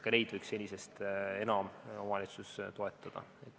Ka siin võiks senisest enam omavalitsus toetada.